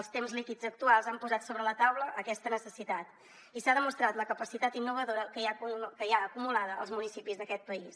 els temps líquids actuals han posat sobre la taula aquesta necessitat i s’ha demostrat la capacitat innovadora que hi ha acumulada als municipis d’aquest país